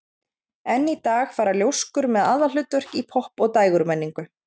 enn í dag fara ljóskur með aðalhlutverk í popp og dægurmenningu